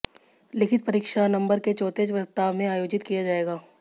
लिखित परीक्षा नवंबर के चौथे सप्ताह में आयोजित किया जाएगा